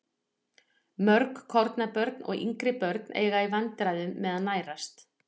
Mörg kornabörn og yngri börn eiga í vandræðum með að nærast.